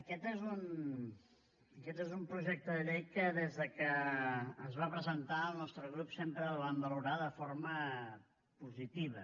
aquest és un projecte de llei que des de que es va presentar el nostre grup sempre el vam valorar de forma positiva